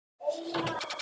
sagði ég og var æstur.